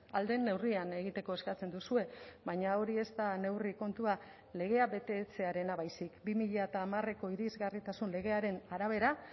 ahal den neurrian egiteko eskatzen duzue baina hori ez da neurri kontua legea betetzearena baizik bi mila hamareko irisgarritasun legearen arabera